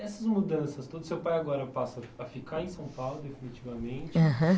Essas mudanças, todo o seu pai agora passa a a ficar em São Paulo definitivamente. Aham.